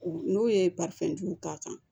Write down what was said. N'o ye jugu k'a kan